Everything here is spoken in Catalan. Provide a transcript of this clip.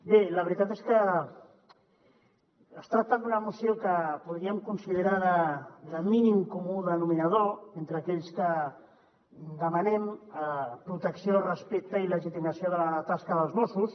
bé la veritat és que es tracta d’una moció que podríem considerar de mínim comú denominador entre aquells que demanem protecció respecte i legitimació de la tasca dels mossos